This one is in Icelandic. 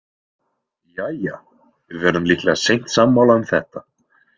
Jæja, við verðum líklega seint sammála um þetta.